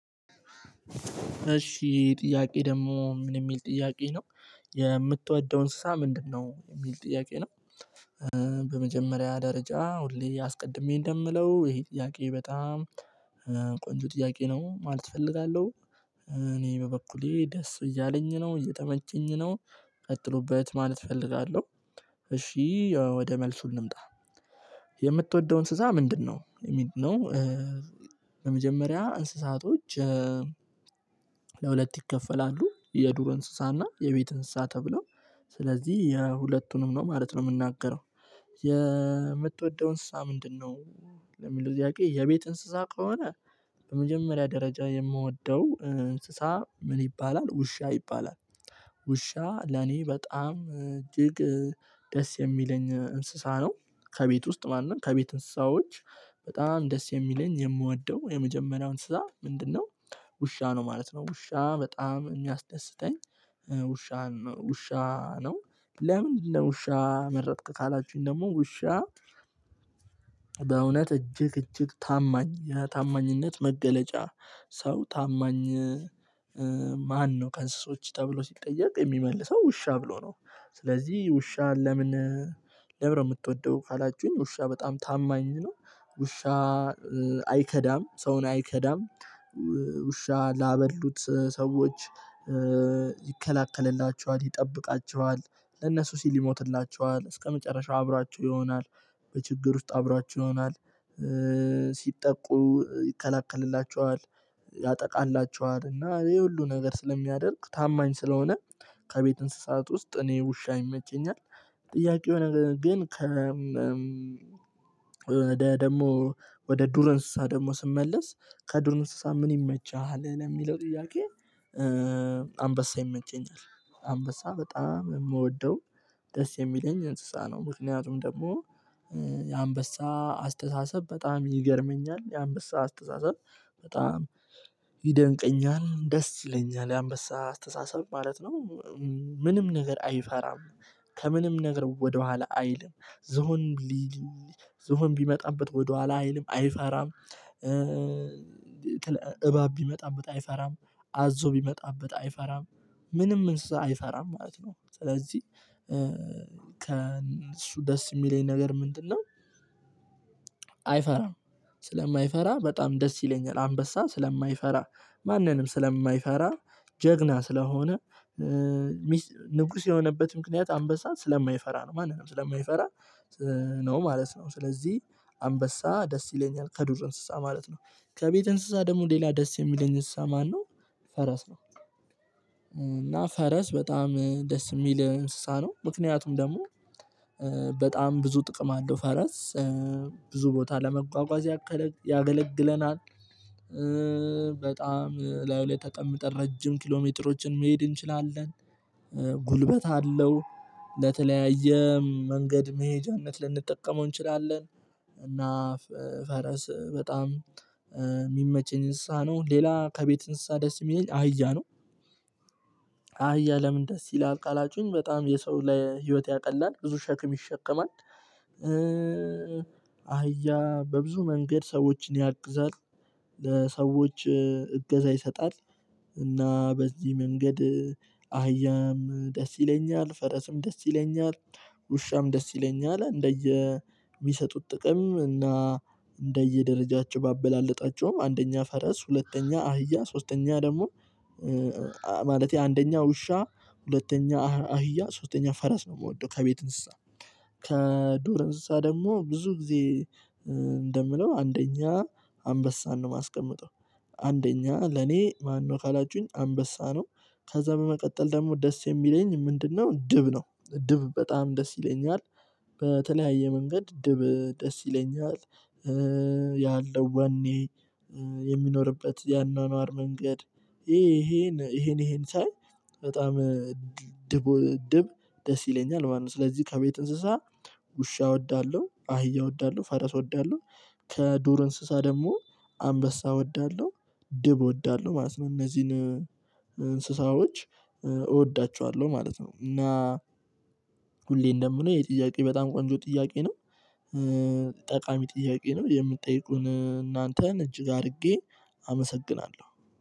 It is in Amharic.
እሺ ጥያቄ ደግሞ ምን የሚል ጥያቄ ነው። የምትወደው እንስሳ ምንድነው የሚል ጥያቄ ነው። በመጀመሪያ ደረጃ ሁሌ አስቀድሜ እንደምለው ይሄ ጥያቄ በጣም ቆንጆ ጥያቄ ነው ማለት እፈልጋለሁ። እኔ በበኩሌ ደስ እያለኝ ነው እየተመቸኝ ነው ቀጥሎበት ማለት እፈልጋለሁ። እሺ ወደ መልሱ እንምጣ። የምትወደውን እንስሳ ምንድነው የሚል ነው? በመጀመሪያ እንስሳቶች። ለሁለት ይከፈላሉ የዱሮ እንስሳና የቤት እንስሳ ተብሎ ስለዚህ የሁለቱንም ነው ማለት ነው የምናገረው። የምትወደውን እንስሳ ምንድነው? ለምን ለጥያቄ የቤት እንስሳ ከሆነ። በመጀመሪያ ደረጃ የምወደው እንስሳ ምን ይባላል ውሻ ይባላል። ውሻ ለኔ በጣም እጅግ ደስ የሚለኝ እንስሳ ነው። ከቤት ውስጥ ማንን ከቤት እንስሳዎች በጣም ደስ የሚለኝ የምወደው የመጀመሪያው እንስሳ ምንድነው? ውሻ ነው ማለት ነው ውሻ በጣም የሚያስደስተኝ ውሻ ውሻ ነው። ለምን ለውሻ መረጥክ ካላችሁኝ ደግሞ ውሻ? በእውነት እጅግ እጅግ ታማኝ ታማኝነት መገለጫ። ሰው ታማኝ ማነው ከእንስሶች ተብሎ ሲጠየቅ የሚመልሰው ውሻ ብሎ ነው። ስለዚህ ውሻን ለምን ለምንነው ምትወደው ካላችሁኝ ውሻ በጣም ታማኝ ነው። ውሻ አይከዳም ሰውን አይከዳም። ውሻ ላበሉት ሰዎች ይከለክልላቸዋል ይጠብቃቸዋል። ለነሱ ሲል ይሞትላቸዋል እስከመጨረሻው አብራችሁ ይሆናል። በችግር ውስጥ አብራችሁ ይሆናል። ሲጠቁ ይከለክልላችኋል። ያጠቃላችኋል እና ይሄ ሁሉ ነገር ስለሚያደርግ ታማኝ ስለሆነ ከቤት እንስሳት ውስጥ እኔ ውሻ ይመቸኛል። ጥያቄው ግን ከ ወደ ደግሞ ወደ ዱረ እንስሳ ደግሞ ስመለስ ከዱረ እንስሳ ምን ይመችሃል የሚለው ጥያቄ? አንበሳ ይመቸኛል። አንበሳ በጣም የምወደው ደስ የሚለኝ እንስሳ ነው። ምክንያቱም ደግሞ የአንበሳ አስተሳሰብ በጣም ይገርመኛል የአንበሳ አስተሳሰብ። በጣም ይደንቀኛል ደስ ይለኛል ያንበሳ አስተሳሰብ ማለት ነው። ምንም ነገር አይፈራም። ከምንም ነገር ወደኋላ አይልም። ዝሆን ዝሆን ቢመጣበት ወደኋላ አይልም አይፈራም። እባብ ቢመጣበት አይፈራም አዞ ቢመጣበት አይፈራም። ምንም እንስሳ አይፈራም ማለት ነው ስለዚህ። ከእሱ ደስ የሚለኝ ነገር ምንድነው? አይፈራም ስለማይፈራ በጣም ደስ ይለኛል አንበሳ ስለማይፈራ። ማንንም ስለማይፈራ ጀግና ስለሆነ። ንጉስ የሆነበት ምክንያት አንበሳ ስለማይፈራ ነው ማንንም ስለማይፈራ ነው ማለት ነው። ስለዚህ አንበሳ ደስ ይለኛል ከዱር እንስሳ ማለት ነው። ከቤት እንስሳ ደግሞ ሌላ ደስ የሚለኝ እንስሳ ማነው? ፈረስ ነው። እና ፈረስ በጣም ደስ የሚል እንስሳ ነው ምክንያቱም ደግሞ በጣም ብዙ ጥቅም አለው። ፈረስ ብዙ ቦታ ለመጓጓዝ ያገለግለናል። በጣም ላይው ላይ ተቀምጠር ረጅም ኪሎሜትሮችን መሄድ እንችላለን። ጉልበት አለው። ለተለያየ መንገድ መሄጃነት ልንጠቀመው እንችላለን። እና ፈረስ በጣም የሚመች እንስሳ ነው። ሌላ ከቤት እንስሳ ደስ የሚለኝ አህያ ነው። አህያ ለምን ደስ ይላል ካላችሁኝ በጣም የሰው ላይ ህይወት ያቀላል ብዙ ሸክም ይሸከማል። አህያ በብዙ መንገድ ሰዎችን ያግዛል። ለሰዎች እገዛ ይሰጣል። እና በዚህ መንገድ አህያም ደስ ይለኛል ፈረስም ደስ ይለኛል። ውሻም ደስ ይለኛል እንደየ የሚሰጡት ጥቅም እና እንደየደረጃቸው ባበላለጣቸውም አንደኛ ፈረስ ሁለተኛ አህያ ሶስተኛ ደግሞ። ማለቴ አንደኛ ውሻ ሁለተኛ አህያ ሶስተኛ ፈረስ ነው የምወደው ከቤት እንስሳ። ከዶር አንስሳ ደግሞ ብዙ ጊዜ እንደምለው አንደኛ አንበሳን ነው የማስቀምጠው። አንደኛ ለኔ ማነው ካላችሁኝ አንበሳ ነው። ከዛ በመቀጠል ደግሞ ደስ የሚለኝ ምንድነው ጅብ ነው ጅብ በጣም ደስ ይለኛል። በተለያየ መንገድ ጅብ ደስ ይለኛል። ያለው ዋኔ የሚኖርበት ያኗኗር መንገድ። ይሄን ይሄን ይሄን ሳይ በጣም ጅብ ደስ ይለኛል ማለት ነው። ስለዚህ ከቤት እንስሳ። ውሻ እወዳለሁ አህያ እወዳለሁ ፈረስ እወዳለሁ። ከዶር እንስሳ ደግሞ አንበሳ እወዳለሁ። ድብ እወዳለሁ ማለት ነው እነዚህን እንስሳዎች እወዳቸዋለሁ ማለት ነው። እና ሁሌ እንደምለው የጥያቄ በጣም ቆንጆ ጥያቄ ነው። ጠቃሚ ጥያቄ ነው የምትጠይቁን እናንተን እጅግ አድርጌ አመሰግናለሁ።